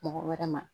Mɔgɔ wɛrɛ ma